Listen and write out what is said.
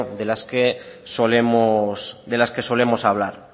de las que solemos hablar